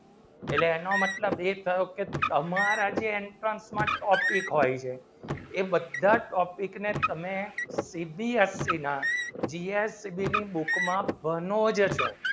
એનો મતલબ એ થયો કે તમારા topic હોય છે એ બધા જ topic ને તમે CBSE book માં બનો જ હતો